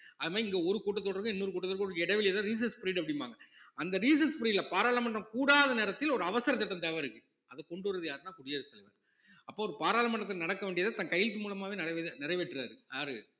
அதுமாதிரி இங்க ஒரு கூட்டத்தொடருக்கும் இன்னொரு கூட்டத்தொடருக்கும் உள்ள இடைவெளிதான் recess period அப்படிம்பாங்க அந்த recess period ல பாராளுமன்றம் கூடாத நேரத்தில் ஒரு அவசர சட்டம் தேவை இருக்கு அத கொண்டு வர்றது யாருன்னா குடியரசு தலைவர் அப்போ ஒரு பாராளுமன்றத்துல நடக்கவேண்டியதை தன் கையெழுத்து மூலமாவே நிறைவேற்~ நிறைவேற்றுறாரு யாரு